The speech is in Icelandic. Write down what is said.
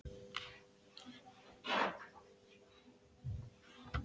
Mig langaði bara til að einhver elskaði mig og verndaði.